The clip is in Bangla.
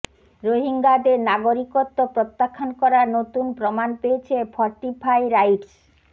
রোহিঙ্গাদের নাগরিকত্ব প্রত্যাখ্যান করার নতুন প্রমাণ পেয়েছে ফরটিফাই রাইটস